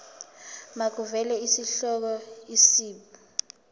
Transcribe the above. makuvele isihloko isib